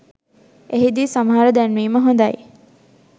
එහිදී සමහර දැන්වීම හොඳයි